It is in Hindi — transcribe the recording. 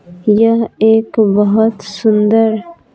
यह एक बहुत सुंदर--